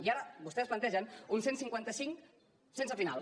i ara vostès plantegen un cent i cinquanta cinc sense final